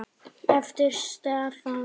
eftir Stefán Pálsson